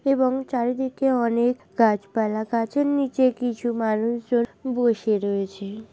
এবং চারিদিকে অনেক গাছপালা গাছের নিচে কিছু মানুষ জন বসে রয়েছে।